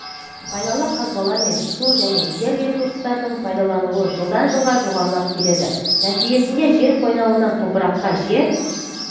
пайдалы қазбалар мен су және жер ресурстарының пайдаланылуы жылдан-жылға жоғарылап келеді нәтижесінде жер қойнауына топыраққа жер